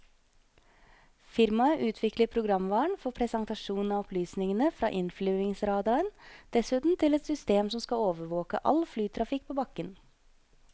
Firmaet utvikler programvaren for presentasjon av opplysningene fra innflyvningsradaren, dessuten til et system som skal overvåke all flytrafikk på bakken.